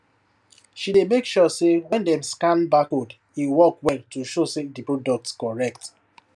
she dey make sure say when dem scan barcode e work well to show say di product correct